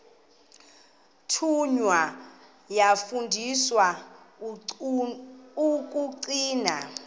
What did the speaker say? thunywa yafundiswa ukugcina